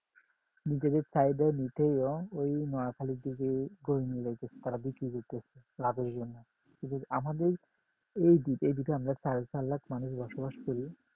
নিজেদের চাহিদা নিতে ও এই নোয়াখালীর দিকে গরু নিয়ে তারা বিক্রি করতেছে লাভের জন্য কিন্তু আমাদের এদিকে এদিকে আমরা সাড়ে চার লাখ মানুষ বসবাস করি